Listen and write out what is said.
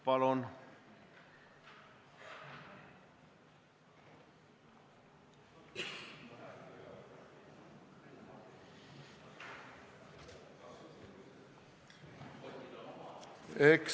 Palun!